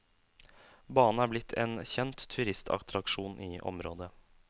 Banen er blitt en kjent turistattraksjon i området.